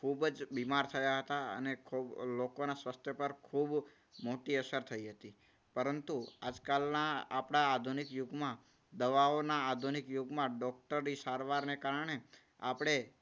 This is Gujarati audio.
ખૂબ જ બીમાર થયા હતા. અને ખૂબ લોકોના સ્વાસ્થ્ય પર ખૂબ મોટી અસર થઈ હતી. પરંતુ આજકાલના આપણા આધુનિક યુગમાં દવાઓના આધુનિક યુગમાં ડોક્ટરની સારવારને કારણે આપણે